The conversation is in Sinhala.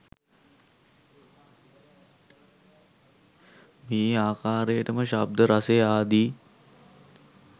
මේ ආකාරයටම ශබ්දය රසය ආදි